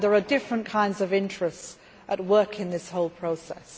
There are different kinds of interests at work in this whole process.